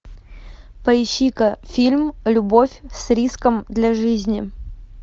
поищи ка фильм любовь с риском для жизни